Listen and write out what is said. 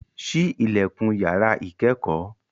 Ṣí ilẹ̀kùn yàrá ìkẹ́kọ̀ọ́